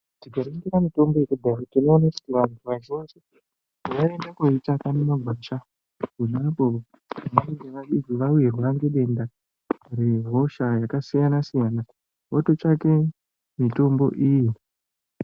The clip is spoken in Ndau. Tikaningire mitombo yekudhaya tinoone kuti vantu vazhinji vaiende koitsvaga mumagwasha ponapo pevanebge vawirwa ngedenda rehosha yakasiyana-siyana, vototsvake mitombo iyi.